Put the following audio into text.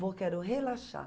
Vou, quero relaxar.